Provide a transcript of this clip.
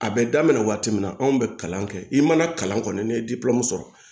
A bɛ daminɛ waati min na anw bɛ kalan kɛ i mana kalan kɔni ne ye sɔrɔ